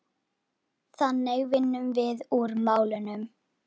Þannig vinnum við úr málunum